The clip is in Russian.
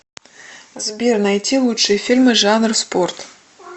сбер найти лучшие фильмы жанр спорт